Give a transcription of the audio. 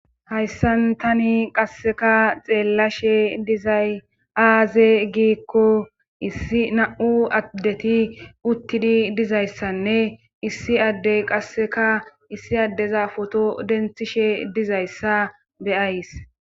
hayssan tani qasseka xeellashe dizay aaze giikko issi na7u addeti uttidi dizayssanne issi addey qasseka issi addeza foto denthishe dizayssa beyays